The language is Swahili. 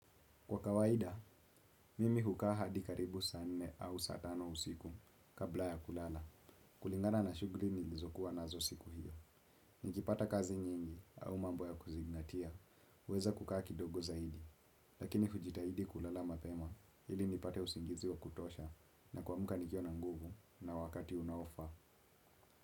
Kwa kawaida, mimi hukaa hadi karibu saa nne au saa tano usiku kabla ya kulala. Kulingana na shuguli nilizokuwa nazo siku hiyo. Niki pata kazi nyingi au mambo ya kuzingatia, uweza kukaa kidogo zaidi. Lakini hujitaidi kulala mapema ili nipate usingizi wa kutosha na kuamka nikiwa na nguvu na wakati unaofaa.